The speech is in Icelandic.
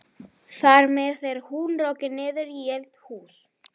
Þar með er hún rokin niður í eldhús.